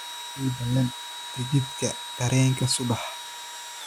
ii ballan tagithi terrenka subax